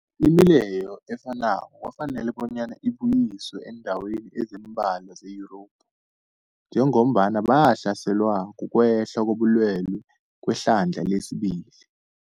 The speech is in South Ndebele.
Imileyo efanako kwafanela bonyana ibuyiswe eendaweni ezimbalwa ze-Yurophu njengombana basahlelwa, kukwehla kobulwele kwehlandla lesibili.